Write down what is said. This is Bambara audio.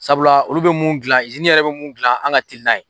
Sabula olu bɛ mun gilan yɛrɛ bɛ mun gilan an ka teli n'a ye